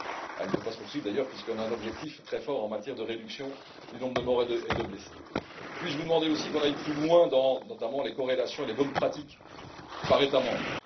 Elle ne peut pas se poursuivre, d'ailleurs, puisqu'on a un objectif très fort en matière de réduction du nombre de morts et de blessés. Puis je vous demander aussi qu'on aille plus loin, notamment dans les corrélations des bonnes pratiques par État membre.